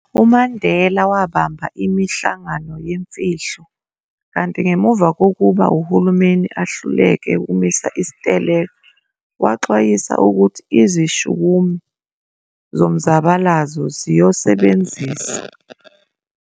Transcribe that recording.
UMandela wabamba imihlangano yemfihlo, kanti ngemuva kokuba uhulumeni ehluleke ukumisa isiteleka, waxwayisa ukuthi izishukumi zomzabalazo ziiyosebenzisa